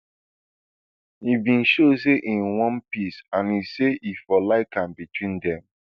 e bin show say im want peace and say e for like am between dem